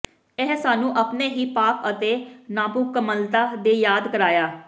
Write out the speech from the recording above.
ਇਹ ਸਾਨੂੰ ਆਪਣੇ ਹੀ ਪਾਪ ਅਤੇ ਨਾਮੁਕੰਮਲਤਾ ਦੇ ਯਾਦ ਕਰਾਇਆ